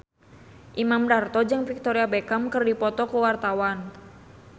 Imam Darto jeung Victoria Beckham keur dipoto ku wartawan